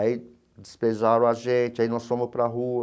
Aí desprezaram a gente, aí nós fomos para a rua.